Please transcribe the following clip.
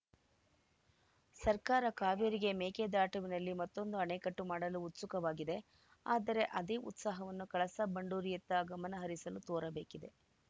ಸರ್ಕಾರ ಕಾವೇರಿಗೆ ಮೇಕೆದಾಟುವಿನಲ್ಲಿ ಮತ್ತೊಂದು ಅಣೆಕಟ್ಟು ಮಾಡಲು ಉತ್ಸುಕವಾಗಿದೆ ಆದರೆ ಅದೇ ಉತ್ಸಾಹವನ್ನು ಕಳಸಾ ಬಂಡೂರಿಯತ್ತ ಗಮನಹರಿಸಲು ತೋರಬೇಕಿದೆ